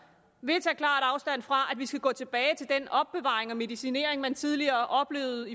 vil tage klart afstand fra at vi skal gå tilbage til den opbevaring og medicinering man tidligere oplevede